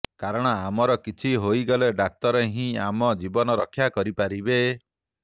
କାରଣ ଆମର କିଛି ହୋଇଗଲେ ଡାକ୍ତର ହିଁ ଆମ ଜୀବନ ରକ୍ଷା କରିପାରିବେ